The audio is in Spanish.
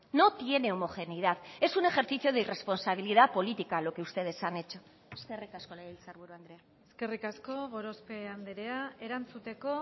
no tiene homogeneidad es un ejercicio de irresponsabilidad política lo que ustedes han hecho eskerrik asko legebiltzarburu andrea eskerrik asko gorospe andrea erantzuteko